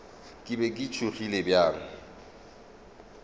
ke be ke tšhogile bjang